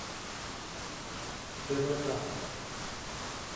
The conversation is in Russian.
твк